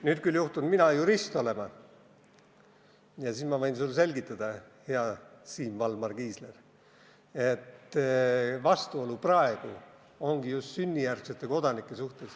Nüüd juhtun mina olema jurist ja võin sulle, hea Siim Valmar Kiisler, selgitada, et praegune vastuolu puudutabki just sünnijärgseid kodanikke.